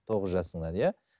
тоғыз жасыңнан иә